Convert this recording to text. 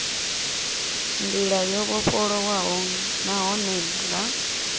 ndila yo vhofholowaho nahone nga